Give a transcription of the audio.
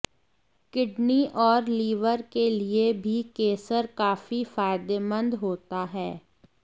kidney और liver के लिए भी केसर काफी फायदेमंद होता है